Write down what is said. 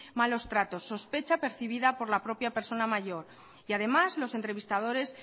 malos tratos sospecha percibida por la propia persona mayor y además los entrevistadores